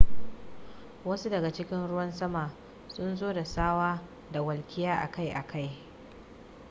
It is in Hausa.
wasu daga cikin ruwan sama sun zo da tsawa da walƙiya akai-akai